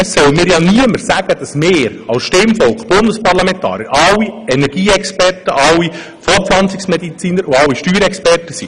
Es soll mir ja niemand sagen, dass wir alle, das Stimmvolk ebenso wie die Bundesparlamentarier, allesamt Energieexperten, Fortpflanzungsmediziner und Steuerexperten sind.